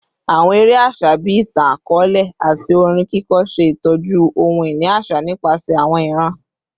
Awọn ere aṣa bii itan-akọọlẹ ati orin kiko ṣe itọju ohun-ini aṣa nipasẹ awọn iran